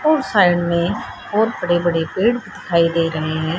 और साइड में और बड़े पेड़ दिखाई दे रहे हैं।